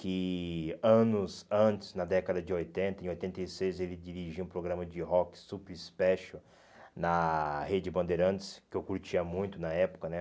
que anos antes, na década de oitenta, em oitenta e seis, ele dirigia um programa de rock super special na Rede Bandeirantes, que eu curtia muito na época, né?